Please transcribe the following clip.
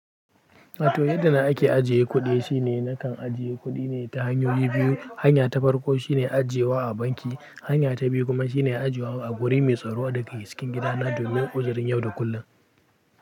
Wato yadda ake ajiye kuɗi shine nakan ajiye kuɗi ne ta hanyoyi biyu. Hanya ta farko shine ajiyewa a banki, hanya ta biyu kuma shine ajiyewa a guri mai tsaro daga cikin gidana domin uzurin yau da kullum.